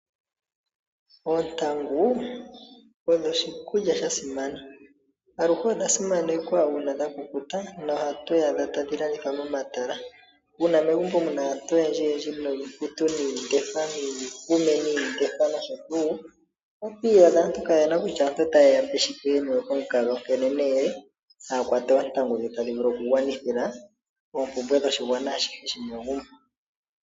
Oontangu odho oshikulya shasimana .Aluhe odha simanekwa uuna dha kukuta noha tu dhi adha tadhilandithwa momatala . Uuna megumbo muna aantu oyendjj yendji nosho tuu oto iyadha aantu keeyena kutya ota yeyape shike, yeniwe komukaga onkene nee ohaya kwata oontangu dhi tadhivulu okugwanithila oompumbwe dhoshigwana